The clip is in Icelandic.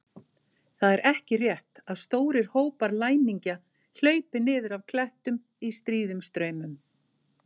Það er ekki rétt að stórir hópar læmingja hlaupi niður af klettum í stríðum straumum.